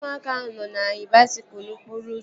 Ụmụaka ahụ nọ na-anya baisikụl n'okporo ụzọ